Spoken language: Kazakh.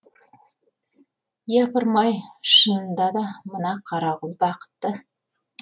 япырмай шынында да мына қара құл бақытты